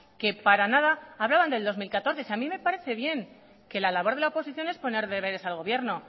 que para nada hablaban de dos mil catorce si a mí me parece bien que la labor de la oposición es poner deberes al gobierno